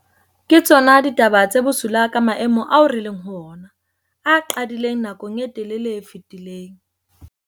Ke tsona ditaba tse bosula ka maemo ao re leng ho ona, a qadileng nakong e telele e fetileng.